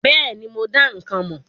Bẹ́ẹ̀ni, mo dá ikán mọ̀.